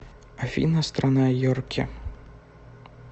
афина страна йорки